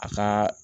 A ka